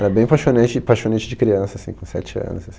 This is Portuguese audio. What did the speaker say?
Era bem paixonante paixonite de criança, assim, com sete anos,